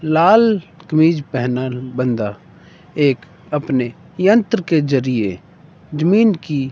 लाल कमीज पहना बंदा एक अपने यंत्र के जरिए जमीन की--